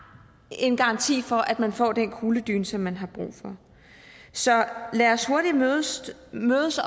en garanti for at man får den kugledyne som man har brug for så lad os hurtigt mødes